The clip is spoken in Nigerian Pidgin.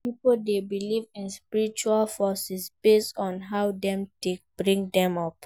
Pipo de believe in spiritual forces based on how dem take bring dem up